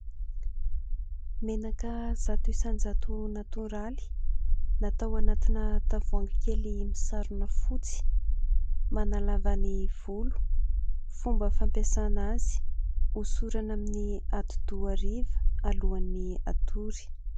Menaka zato isanjato natoraly. Natao anatina tavoahangy kely misarona fotsy. Manalava ny volo, fomba fampiasana azy hosorana amin'ny hodi-doha hariva alohan'ny hatory.